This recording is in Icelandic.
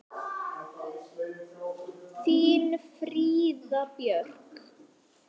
Þín Fríða Björk.